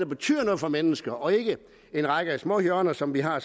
betyder noget for mennesker og ikke en række småhjørner som vi har